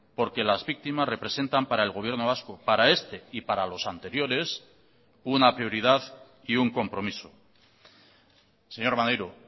porque las víctimas representan para el gobierno vasco para este y para los anteriores una prioridad y un compromiso señor maneiro